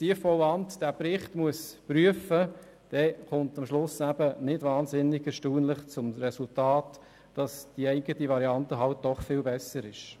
Wenn das Tiefbauamt diesen Bericht prüfen muss, dann kommt am Schluss das eben nicht wahnsinnig erstaunliche Resultat heraus, dass die eigene Variante halt doch viel besser ist.